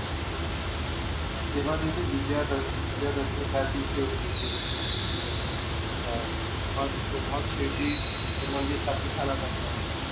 तेव्हा ते विजयादशमी विजयादशमी त्याच दिवसी होती ते मेले होते त्या दिवसी हा तेव्हा मग मग शिर्डी ते मंदिर स्थापित झाला होता तेव्हा आमचा